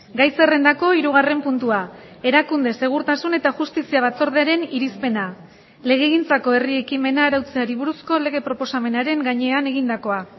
gai zerrendako hirugarren puntua erakunde segurtasun eta justizia batzordearen irizpena legegintzako herri ekimena arautzeari buruzko lege proposamenaren gainean egindakoa